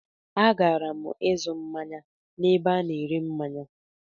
A gara'm ịzụ manye na ebe a na ere manye.